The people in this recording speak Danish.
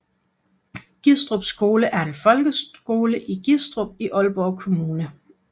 Gistrup Skole er en folkeskole i Gistrup i Aalborg Kommune